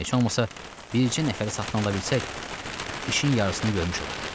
Heç olmasa bircə nəfəri satın ala bilsək, işin yarısını görmüş olarıq.